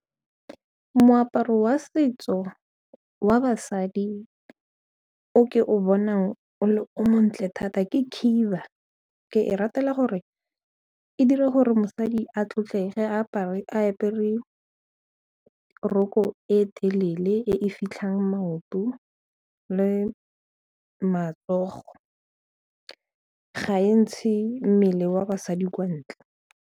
Moaparo wa setso wa basadi o ke o bonang o le o montle thata ke khiba, ke e ratela gore e dira gore mosadi a tlotlege a apere ka roko e telele e e fitlhang maoto le matsogo ga e ntshe mmele wa basadi kwa ntle.